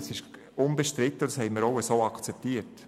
Das ist unbestritten, und das haben wir auch so akzeptiert.